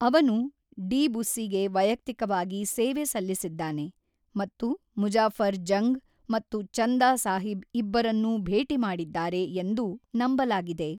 ಅವನು ಡಿ ಬುಸ್ಸಿಗೆ ವೈಯಕ್ತಿಕವಾಗಿ ಸೇವೆ ಸಲ್ಲಿಸಿದ್ದಾನೆ ಮತ್ತು ಮುಜಾಫರ್ ಜಂಗ್ ಮತ್ತು ಚಂದಾ ಸಾಹಿಬ್ ಇಬ್ಬರನ್ನೂ ಭೇಟಿ ಮಾಡಿದ್ದಾರೆ ಎಂದು ನಂಬಲಾಗಿದೆ.